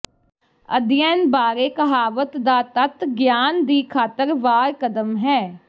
ਅਧਿਐਨ ਬਾਰੇ ਕਹਾਵਤ ਦਾ ਤੱਤ ਗਿਆਨ ਦੀ ਖ਼ਾਤਰ ਵਾਰ ਕਦਮ ਹੈ